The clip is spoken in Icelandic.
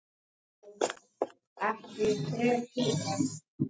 Starfsumhverfi og atvinnusjúkdómar.